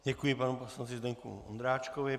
Děkuji panu poslanci Zdeňku Ondráčkovi.